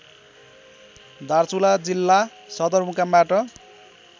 दार्चुला जिल्ला सदरमुकामबाट